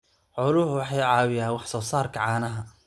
Xooluhu waxay caawiyaan wax soo saarka caanaha.